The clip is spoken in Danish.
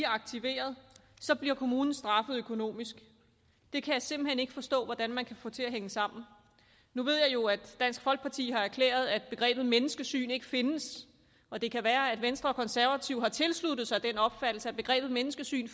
aktiverede bliver kommunen straffet økonomisk jeg kan simpelt hen ikke forstå hvordan man kan få det til at hænge sammen nu ved jeg jo at dansk folkeparti har erklæret at begrebet menneskesyn ikke findes og det kan være at venstre og konservative har tilsluttet sig den opfattelse at begrebet menneskesyn